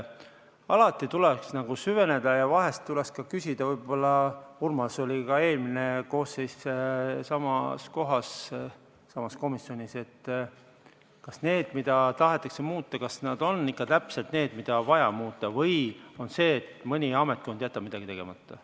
Alati tuleks süveneda ja vahest võiks ka küsida – Urmas oli ka eelmise koosseisu ajal samas kohas, samas komisjonis –, kas need asjad, mida tahetakse muuta, on ikka täpselt need, mida on vaja muuta, või on asi selles, et mõni ametkond jätab midagi tegemata.